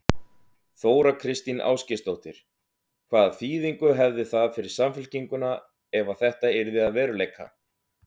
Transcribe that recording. Þóra Kristín Ásgeirsdóttir: Hvaða þýðingu hefði það fyrir Samfylkinguna ef að þetta yrði að veruleika?